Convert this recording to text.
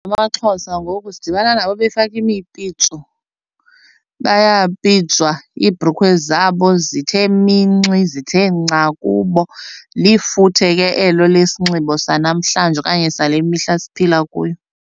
AmaXhosa ngoku sidibana nabo befake imipitso bayapitswa iibhrukhwe zabo zithe minxi zithe nca kubo. Lifuthe ke elo lesinxibo sanamhlanje okanye sale mihla siphila kuyo.